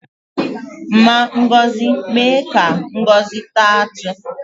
Mma Ngozi mee ka Ngozi taa atụ